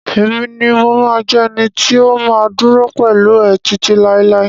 Emi ni mo ma jẹ ẹni tí o ma duro pẹlú ẹ titi lailai.